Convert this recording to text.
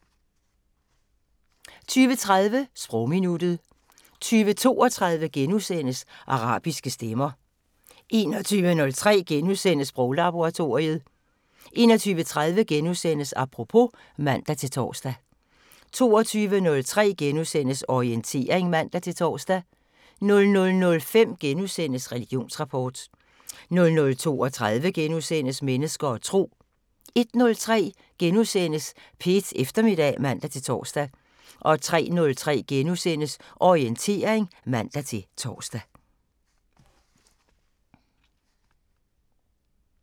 20:30: Sprogminuttet 20:32: Arabiske stemmer * 21:03: Sproglaboratoriet * 21:30: Apropos *(man-tor) 22:03: Orientering *(man-tor) 00:05: Religionsrapport * 00:32: Mennesker og Tro * 01:03: P1 Eftermiddag *(man-tor) 03:03: Orientering *(man-tor)